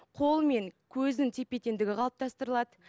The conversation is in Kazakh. қол мен көзінің тепе теңдігі қалыптастырылады